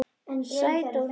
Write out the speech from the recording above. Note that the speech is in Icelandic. Sæt og hlý.